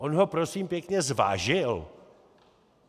On ho, prosím pěkně, zvážil?